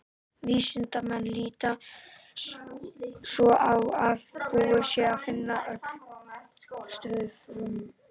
Vísindamenn líta svo á að búið sé að finna öll stöðug frumefni.